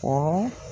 O